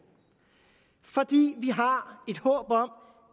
for vi har et håb om